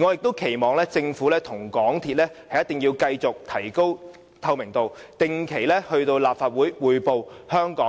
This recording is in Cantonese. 我亦期望政府和港鐵公司一定要繼續提高透明度，定期到立法會匯報